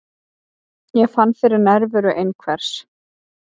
Ég fann fyrir nærveru einhvers.